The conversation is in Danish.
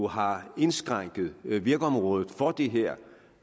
har indskrænket virkeområdet for det her